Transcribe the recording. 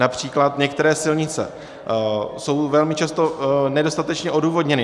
Například některé silnice jsou velmi často nedostatečně odůvodněny.